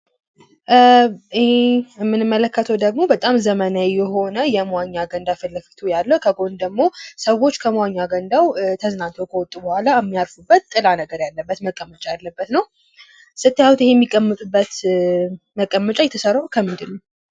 ይሄ የምንመለከተው ደግሞ በጣም ዘመናዊ ልዩ የሆነ የመዋኛ ገንዳ ከፊትለፊቱ ያለ ሰዎች ከመዋኛ ገንዳው ዋኝተው ከወጡ በኋላ የሚቀመጡበት መቀመጫ ያለበት ነው። ስታዩት ይሄ የሚቀመጡበት መቀመጫ የተሰራው ከምንድን ነው?